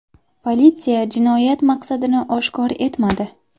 Politsiya jinoyat maqsadini oshkor etmadi.